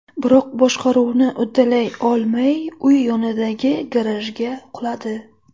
Biroq boshqaruvni uddalay olmay, uy yonidagi garajga quladi.